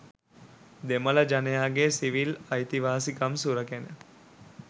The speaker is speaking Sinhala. දෙමළ ජනයාගේ සිවිල් අයිතිවාසිකම් සුරැකෙන